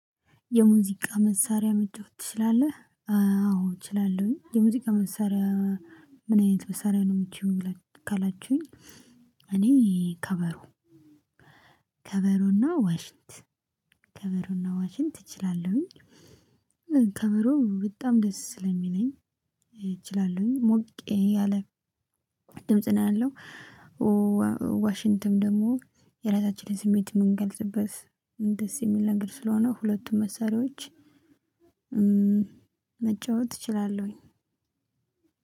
የሙዚቃ መሳሪያ መጫወት ትችላለህ? አወ እችላለሁኝ። የሙዚቃ መሳሪያ? ምን አይነት መሳሪያ ነው እምትችይው ካላችሁኝ። እኔ ከበሮ። ከበሮ እና ዋሽንት። ከበሮ እና ዋሽንት እችላለሁኝ። ከበሮ በጣም ደስ ስለሚለኝ እችላለሁ። ሞቅ ያለ ድምጽ ነው ያለው። ዋሽንትም ደግሞ የራሳችንን ስሜት እምንገልጽበት ደስ የሚል ነገር ስለሆነ ሁለቱን መሳሪያዎች መጫወት እችላለሁኝ።